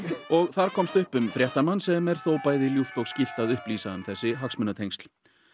þar komst upp um fréttamann sem er þó bæði ljúft og skylt að upplýsa um þessi hagsmunatengsl